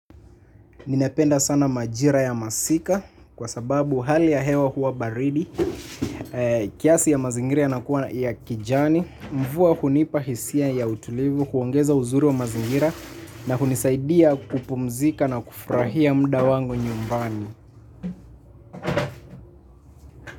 Ninapenda sana majira ya masika kwa sababu hali ya hewa huwa baridi kiasi ya mazingira yanakuwa ya kijani. Mvua hunipa hisia ya utulivu kuongeza uzuri wa mazingira na hunisaidia kupumzika na kufurahia muda wangu nyumbani.